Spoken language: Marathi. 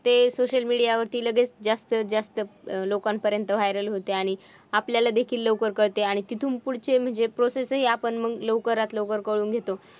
ते social media वरती लगेच जास्त जास्त लोकांपर्यंत viral होतं आणि आपल्याला देखील लवकर कळतं आणि तिथून पुढचे म्हणज़े process हि आपण मग लवकरात लवकर करून घेतो.